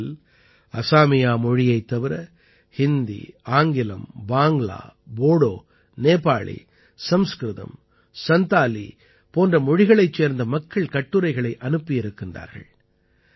இவற்றில் அஸாமியா மொழியைத் தவிர ஹிந்தி ஆங்கிலம் பாங்க்லா போடோ நேபாளி சம்ஸ்கிருதம் சந்தாலி போன்ற மொழிகளைச் சேர்ந்த மக்கள் கட்டுரைகளை அனுப்பியிருக்கிறார்கள்